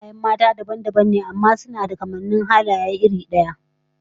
Halayen mata dabam dabam ne amma suna da kamannin halaye da dama iri daya